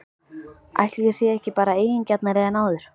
Ætli ég sé ekki bara eigingjarnari en áður?!